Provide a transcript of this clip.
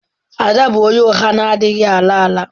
Ada bụ onye ụgha na-adịghị ala ala.